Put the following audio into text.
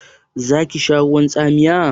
Zaki sha ruwan tsamiya?